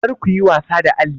Kar ku yi wasa da alli!